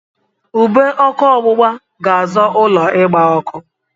Ube ọkụ ọgbụgba ga-azọ ụlọ ịgba ọkụ.